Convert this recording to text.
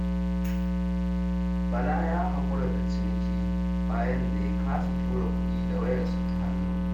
Bala ya haƙura da ciniki bayan da ya kasa tura kuɗi da wayarsa ta hannu.